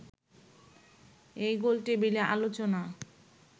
এই গোলটেবিল আলোচনা